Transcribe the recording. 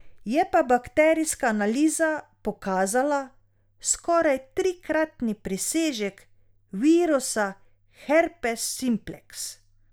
Je pa bakterijska analiza pokazala skoraj trikratni presežek virusa herpes simpleks.